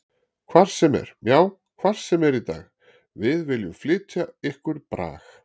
Hvar sem er, já hvar sem er í dag Við viljum flytja ykkur brag.